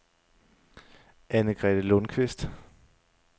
Anne-Grethe Lundqvist